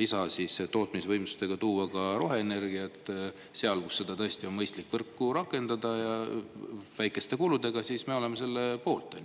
lisatootmisvõimsustega toota roheenergiat seal, kus seda tõesti on mõistlik võrku rakendada, väikeste kuludega, siis me oleme selle poolt.